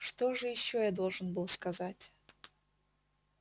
что же ещё я должен был сказать